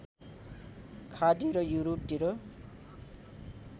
खाडी र युरोपतिर